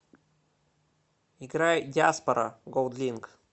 играй диаспора голдлинк